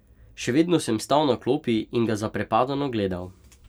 Še vedno sem stal na klopi in ga zaprepadeno gledal.